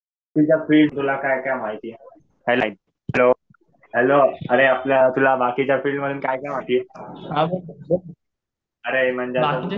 तुझ्या फिल्ड. तुला काय काय माहिती आहे? हॅलो अरे आपलं तुला बाकीच्या फिल्ड मध्ये काय काय महिती आहे. अरे म्हणलं